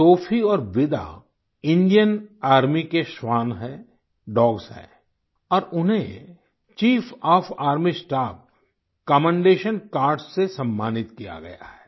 Sophie और विदा Indian Army के श्वान हैं डॉग्स हैं और उन्हें chief of army staff commendation cards से सम्मानित किया गया है